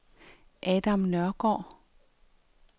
Adam Nørgaard